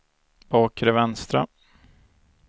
bakre vänstra